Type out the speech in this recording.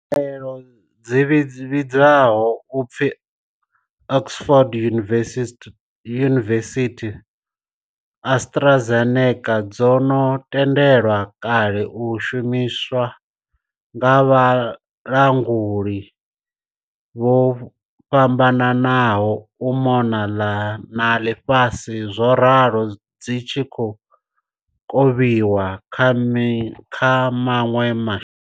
Khaelo dzi vhidzwaho u pfi Oxford University Astra Zeneca dzo no tendelwa kale u shumiswa nga vhalanguli vho fhambananaho u mona na ḽifhasi zworalo dzi khou kovhiwa kha maṅwe ma.